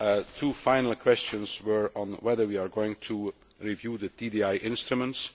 Two final questions were on whether we are going to review the trade defence instruments.